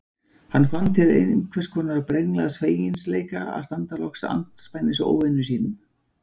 Hann fann til einhvers konar brenglaðs feginleika að standa loks andspænis óvinum sínum.